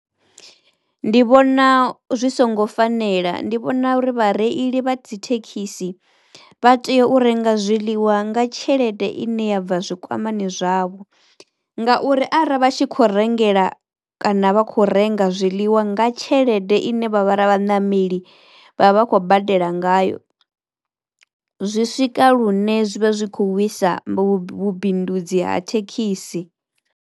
Ndi vhona zwi songo fanela. Ndi vhona uri vha reili vha dzi thekhisi vha teyo u renga zwiḽiwa nga tshelede ine ya bva zwi kwamani zwavho ngauri ara vha tshi kho rengela kana vha kho renga zwiḽiwa nga tshelede ine vhavha ra vhaṋameli vha vha vha khou badela ngayo zwi swika lune zwi vha zwi khou wisa vhu vhubindudzi ha thekhisi.